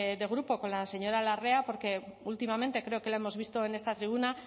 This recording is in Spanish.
de grupo con la señora larrea porque últimamente creo que lo hemos visto en esta tribuna